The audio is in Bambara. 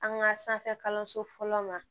An ka sanfɛ kalanso fɔlɔ la